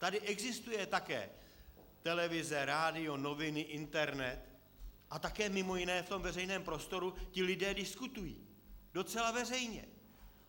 Tady existuje také televize, rádio, noviny, internet a také mimo jiné v tom veřejném prostoru ti lidé diskutují docela veřejně.